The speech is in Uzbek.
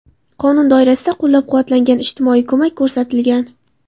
Qonun doirasida qo‘llab-quvvatlangan, ijtimoiy ko‘mak ko‘rsatilgan.